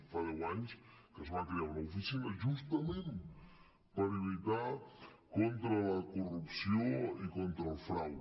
fa deu anys que es va crear una oficina justament per lluitar contra la corrupció i contra el frau